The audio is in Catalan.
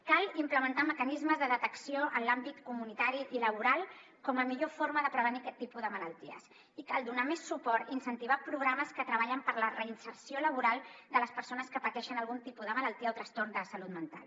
cal implementar mecanismes de detecció en l’àmbit comunitari i laboral com a millor forma de prevenir aquest tipus de malalties i cal donar més suport i incentivar programes que treballen per la reinserció laboral de les persones que pateixen algun tipus de malaltia o trastorn de salut mental